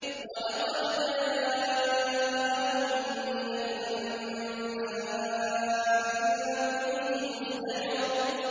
وَلَقَدْ جَاءَهُم مِّنَ الْأَنبَاءِ مَا فِيهِ مُزْدَجَرٌ